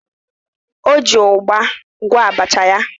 O ji ụgba gwọọ abacha ya.